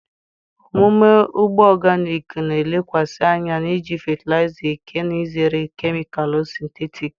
omume ugbo organic na-elekwasị anya n'iji fatịlaịza eke na izere kemịkalụ sịntetik.